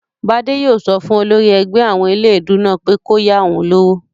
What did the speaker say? Bádé yóò sọ fún olórí ẹgbẹ́ àwọn eléèdúú náà pé kó yá òun lówó